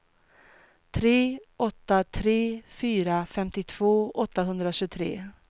tre åtta tre fyra femtiotvå åttahundratjugotre